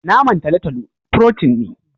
naman talotalo "protein " ne.